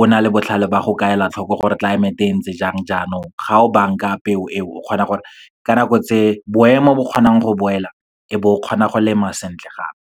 o na le botlhale ba go ka ela tlhoko gore tlelaemeteng e ntse jang jaanong, ga o banka peo eo, o kgona gore ka nako tse boemo bo kgonang go boela, e be o kgona go lema sentle gape.